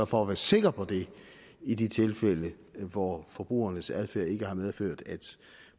for at være sikker på det i de tilfælde hvor forbrugerens adfærd ikke har medført at